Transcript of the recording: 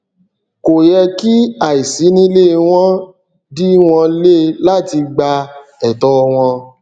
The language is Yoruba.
kò yẹ kí àìsínílé wọn dí wọn le láti gba ẹtọ wọn